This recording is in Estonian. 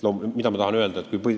Mida ma tahan öelda?